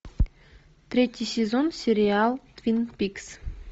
третий сезон сериал твин пикс